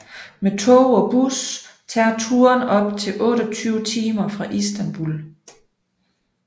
Med tog og bus tager turen op til 28 timer fra Istanbul